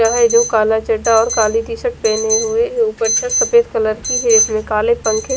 वो है जो कला चडा और कलि टी शर्ट पहने हुए और गमछा सफ़ेद कलर की है इसमें काले पंखे --